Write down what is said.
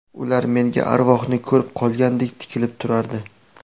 Ular menga arvohni ko‘rib qolgandek tikilib turardi.